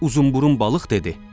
Uzunburun balıq dedi: